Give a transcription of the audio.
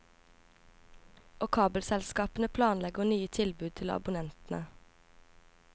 Og kabelselskapene planlegger nye tilbud til abonnentene.